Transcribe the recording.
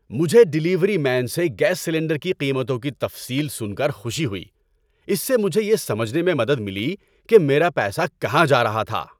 مجھے delivery man سے gas cylinder کی قیمتوں کی تفصیل سن کر خوشی ہوئی۔ اس سے مجھے یہ سمجھنے میں مدد ملی کہ میرا پیسہ کہاں جا رہا تھا۔